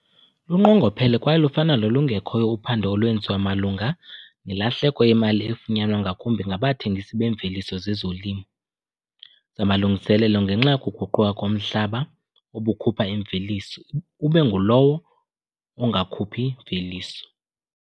Lunqongophele kwaye lufana nolungekhoyo uphando olwenziwa malunga nelahleko yemali efunyanwa ngakumbi ngabathengisi beemveliso zezolimo zamalungiselelo ngenxa yokuguquka komhlaba obukhupha imveliso ube ngulowo ungakhuphi mveliso.